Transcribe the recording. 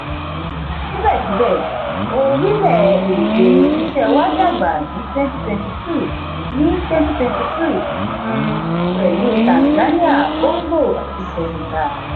síbẹ̀síbẹ̀ orílẹ̀-èdè iṣẹ́ wa dàgbà ní twenty twenty two ní twenty twenty two um pẹ̀lú tanzania congo àti senegal